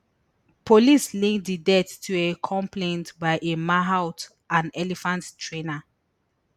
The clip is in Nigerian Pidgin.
police link di death to a complaint by a mahout an elephant trainer